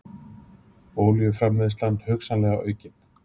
Olíuframleiðsla hugsanlega aukin